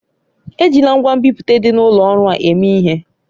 Ejila ngwa nbipute dị n'ụlọ ọrụ a eme ihe!